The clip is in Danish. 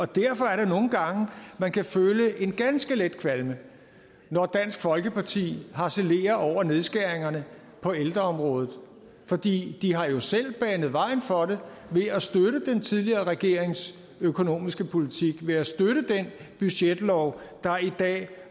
derfor er det nogle gange man kan føle en ganske let kvalme når dansk folkeparti harcelerer over nedskæringerne på ældreområdet for de har jo selv banet vejen for det ved at støtte den tidligere regerings økonomiske politik ved at støtte den budgetlov der i dag